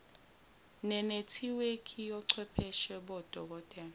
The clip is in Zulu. nenethiwekhi yochwepheshe bodokotela